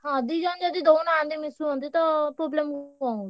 ହଁ ଦି ଜଣ ଯଦି ଦଉନାହନ୍ତି ମିଶୁଛନ୍ତି ତ problem କଣ ହଉଛି।